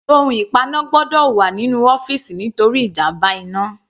Ohun ìpaná gbọ́dọ̀ wà nínú ọ́fìsì nítorí ìjàmbá iná.